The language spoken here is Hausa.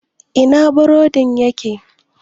Ina burodin yake?